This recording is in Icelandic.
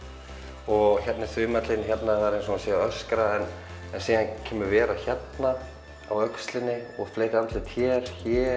og hérna er þumallinn það er eins og hann sé að öskra en síðan kemur vera hérna á öxlinni og fleiri andlit hér